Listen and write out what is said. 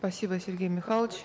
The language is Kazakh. спасибо сергей михайлович